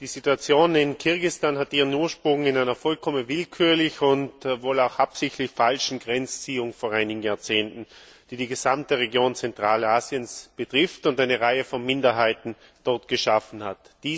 Die Situation in Kirgisistan hat ihren Ursprung in einer vollkommen willkürlich und wohl auch absichtlich falschen Grenzziehung vor einigen Jahrzehnten, die die gesamte Region Zentralasiens betrifft und dort eine Reihe von Minderheiten geschaffen hat.